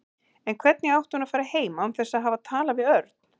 En hvernig átti hún að fara heim án þess að hafa talað við Örn?